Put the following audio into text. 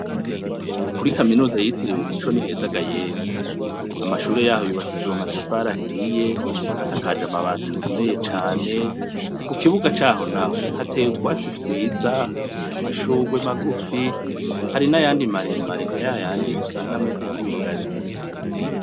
Kuri kaminuza yitiriwe umuco ni heza ga yemwe! Amashure yaho yubakishijwe amatafari ahiye, asakaje amabati akomeye cane, kukibuga caho naho ,hateye utwatsi twiza, hateye anashurwe magufi, hari nayandi maremare nka yayandi usanga ameze nk'ibigazi.